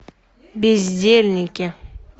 бездельники